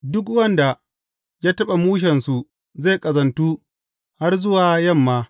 Duk wanda ya taɓa mushensu zai ƙazantu har zuwa yamma.